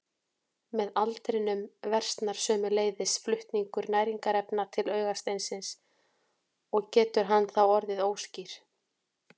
Með aldrinum versnar sömuleiðis flutningur næringarefna til augasteinsins og getur hann þá orðið óskýr.